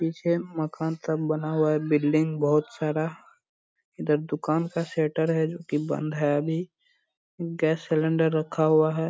पीछे मकान सब बना हुआ है बिल्डिंग बहुत सारा इधर दुकान का शटर है जो कि बंद है अभी गैस सिलिंडर रखा हुआ है।